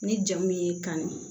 Ni jama min y'i kanu